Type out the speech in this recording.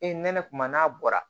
Ee nɛnɛ kuma n'a bɔra